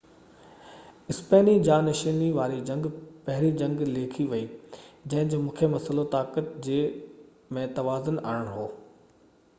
اسپيني جانشيني واري جنگ پهرين جنگ ليکي وئي جنهن جو مکيه مسئلو طاقت جي ۾ توازن آڻڻ هيو